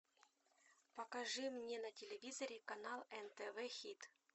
покажи мне на телевизоре канал нтв хит